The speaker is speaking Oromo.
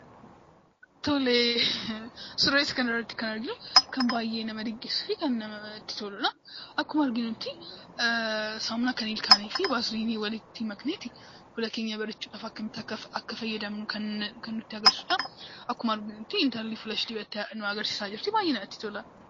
Tole suura kana irratti kan argamu waan baay'ee nama dinqisiisuu fi namatti toludha. Saamunaa ilkaanii fi vaaziliinii walitti maknee fuula keenyatti akkamitti akka godhachuu qabnu kan nutti agarsiisudha. Akkuma arginu intalli fuula isheetti godhachaa jirtii kan baay'ee namatti toludha.